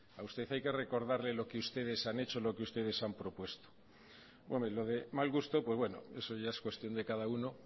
a usted hay que recordarle lo que ustedes han hecho lo que ustedes han propuesto bueno y lo de mal gusto pues bueno eso es cuestión de cada uno